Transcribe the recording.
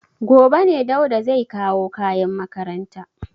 Gobe ne Dauda zai kawo kayan makaranta.